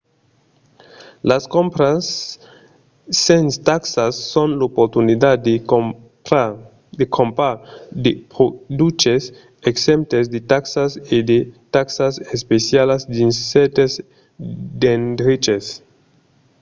las crompas sens taxas son l’oportunitat de crompar de produches exemptes de taxas e de taxas especialas dins cèrtes d'endreches